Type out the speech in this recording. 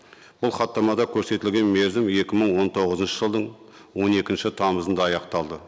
ол хаттамада көрсетілген мерзім екі мың он тоғызыншы жылдың он екінші тамызында аяқталды